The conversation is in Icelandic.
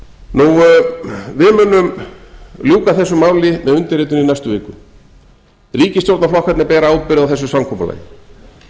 vita við munum ljúka þessu máli með undirritun í næstu viku ríkisstjórnarflokkarnir bera ábyrgð á þessu samkomulagi en það